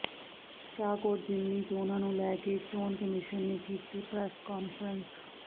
ਸ਼ਾਹਕੋਟ ਜ਼ਿਮਨੀ ਚੋਣਾਂ ਨੂੰ ਲੈ ਕੇ ਚੋਣ ਕਮਿਸ਼ਨ ਨੇ ਕੀਤੀ ਪ੍ਰੈਸ ਕਾਨਫਰੰਸ